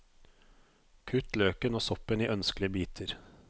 Kutt løken og soppen i ønskelige biter.